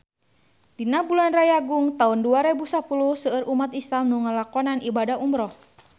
Dina bulan Rayagung taun dua rebu sapuluh seueur umat islam nu ngalakonan ibadah umrah